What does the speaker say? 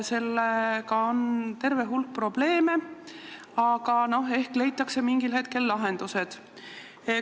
Sellega on terve hulk probleeme, aga ehk leitakse mingil hetkel lahendused.